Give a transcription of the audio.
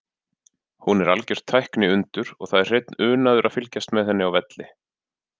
Hún er algjört tækniundur og það er hreinn unaður að fylgjast með henni á velli.